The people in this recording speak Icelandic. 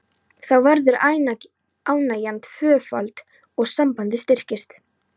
Þá verður ánægjan tvöföld og sambandið styrkist.